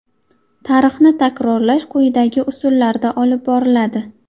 Tarixni takrorlash quyidagi usullarda olib boriladi.